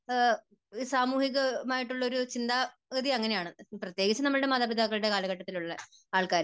സാമൂഹികം ആയിട്ടുള്ള ഒരു ചിന്താരീതി അങ്ങനെയാണ്. പ്രത്യേകിച്ച് നമ്മുടെ മാതാപിതാക്കളുടെ കാലഘട്ടത്തിൽ ഉള്ള ആൾക്കാര്.